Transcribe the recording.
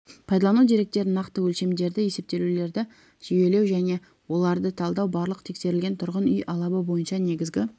пайдалану деректерін нақты өлшемдерді есептеулерді жүйелеу және оларды талдау барлық тексерілген тұрғын үй алабы бойынша негізгі